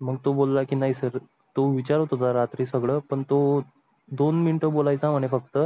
मग तो बोल ला की नाही सर तो विचारत होता रात्री सगळं पण तो दोन minute बोलायचं आहे फक्त